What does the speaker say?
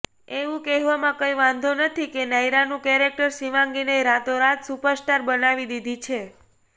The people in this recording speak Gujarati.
એવું કહેવામાં કંઈ વાંધો નથી કે નાયરાનું કેરેક્ટર શિવાંગીને રાતોરાત સુપરસ્ટાર બનાવી દીધી છે